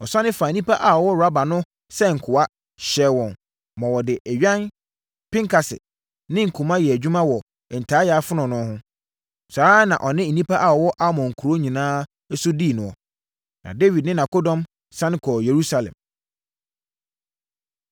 Ɔsane faa nnipa a wɔwɔ Raba no sɛ nkoa, hyɛɛ wɔn, ma wɔde ɛwan, pinkase ne nkuma yɛɛ adwuma wɔ ntayaa fononoo ho. Saa ara na ɔne nnipa a wɔwɔ Amon nkuro nyinaa so dii noɔ. Na Dawid ne nʼakodɔm sane kɔɔ Yerusalem.